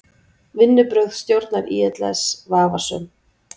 Vinnubrögð stjórnar ÍLS vafasöm